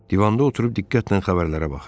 Divanda oturub diqqətlə xəbərlərə baxırdım.